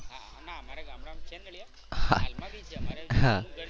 ના અમારે ગામડામાં છે નળિયા હાલ માં બી છે જૂનું ઘર છે